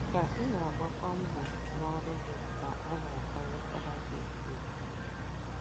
Ka ị na - agbakwu mbọ n’ọrụ gị ka a na - akwanyekwuru gị ùgwù.